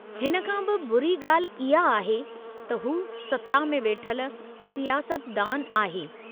हिन खां बि बुरी ॻाल्हि इहा आहे, त हू सत्ता में वेठल सियासतदानु आहे।